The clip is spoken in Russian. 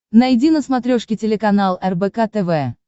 найди на смотрешке телеканал рбк тв